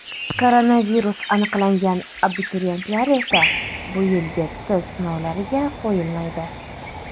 Koronavirus aniqlangan abituriyentlar esa bu yilgi test sinovlariga qo‘yilmaydi.